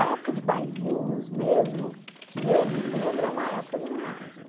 A época de bailinhos mesmo, que eu me lembro, é uma época de ginásio.